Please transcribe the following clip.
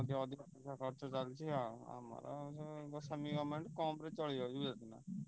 ।